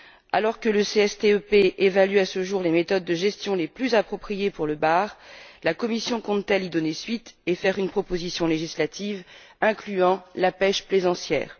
Alors que le CSTEP évalue à ce jour les méthodes de gestion les plus appropriées pour le bar, la Commission compte t elle y donner suite et présenter une proposition législative incluant la pêche plaisancière?